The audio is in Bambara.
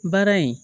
Baara in